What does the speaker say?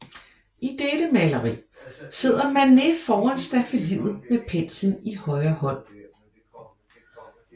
I dette maleri sidder Manet foran staffeliet med penslen i højre hånd